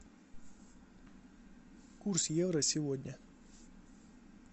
курс евро сегодня